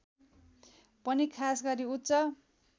पनि खासगरी उच्च